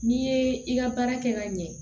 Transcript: N'i ye i ka baara kɛ ka ɲɛ